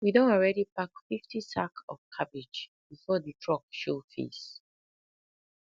we don already pack fifty sack of cabbage before the truck show face